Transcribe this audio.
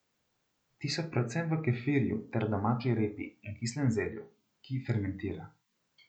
Ti so predvsem v kefirju ter domači repi in kislem zelju, ki fermentira.